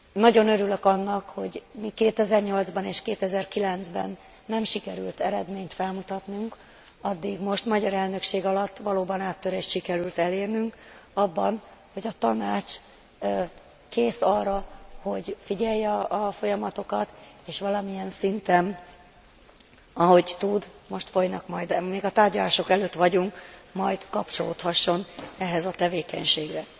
Nagyon örülök annak, hogy míg 2008 ban és 2009 ben nem sikerült eredményt felmutatnunk, addig most magyar elnökség alatt valóban áttörést sikerült elérnünk abban, hogy a Tanács kész arra, hogy figyelje a folyamatokat, és valamilyen szinten, ahogy tud most folynak majd, még a tárgyalások előtt vagyunk majd kapcsolódhasson ehhez a tevékenységhez.